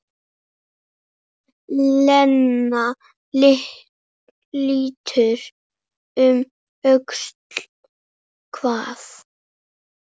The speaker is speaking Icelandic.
Lena lítur um öxl: Hvað?